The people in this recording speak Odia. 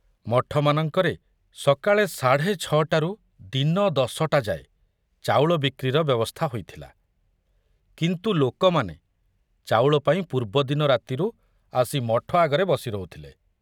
ମଠମାନଙ୍କରେ ସକାଳେ ସାଢ଼େ ଛ'ଟାରୁ ଦିନ ଦଶଟା ଯାଏ ଚାଉଳ ବିକ୍ରିର ବ୍ୟବସ୍ଥା ହୋଇଥିଲା, କିନ୍ତୁ ଲୋକମାନେ ଚାଉଳ ପାଇଁ ପୂର୍ବଦିନ ରାତିରୁ ଆସି ମଠ ଆଗରେ ବସି ରହୁଥିଲେ।